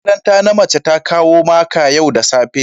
shugaban makaranta na mace ta kawo maka yau da safe